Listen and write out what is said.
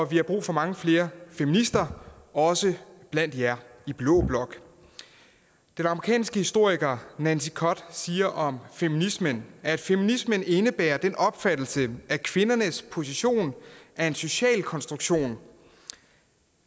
vi har brug for mange flere feminister også blandt jer i blå blok den amerikanske historiker nancy cott siger om feminismen at feminismen indebærer den opfattelse at kvindernes position er en social konstruktion